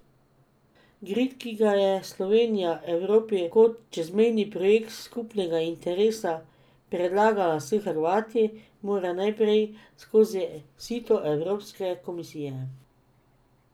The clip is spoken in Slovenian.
Grid, ki ga je Slovenija Evropi kot čezmejni projekt skupnega interesa predlagala s Hrvati, mora najprej skozi sito evropske komisije.